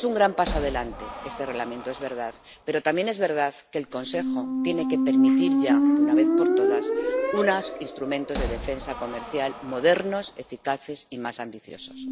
Es un gran paso adelante este Reglamento, es verdad, pero también es verdad que el Consejo tiene que permitir ya, de una vez por todas, unos instrumentos de defensa comercial modernos, eficaces y más ambiciosos.